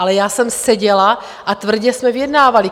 Ale já jsem seděla a tvrdě jsme vyjednávali.